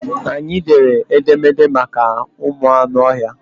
Anyị dere edemede maka ụmụ anụ ọhịa.